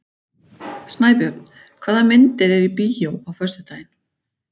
Snæbjörn, hvaða myndir eru í bíó á föstudaginn?